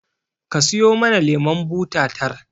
Ka siyo mana lemon buta tar